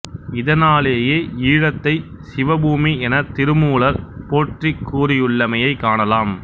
இதனாலேயே ஈழத்தை சிவபூமி எனத் திருமூலர் போற்றிக் கூறியுள்ளமையைக் காணலாம்